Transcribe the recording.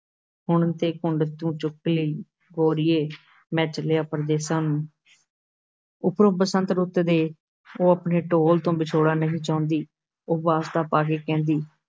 ਹੁਣ ਤੇ ਘੁੰਡ ਤੂੰ ਚੁੱਕ ਨੀ ਗੋਰੀਏ, ਮੈਂ ਚੱਲਿਆ ਪਰਦੇਸਾਂ ਨੂੰ ਉਪਰੋਂ ਬਸੰਤ ਰੁੱਤ ਦੇ ਉਹ ਆਪਣੇ ਢੋਲ ਤੋਂ ਵਿਛੋੜਾ ਨਹੀਂ ਚਾਹੁੰਦੀ, ਉਹ ਵਾਸਤਾ ਪਾ ਕੇ ਕਹਿੰਦੀ,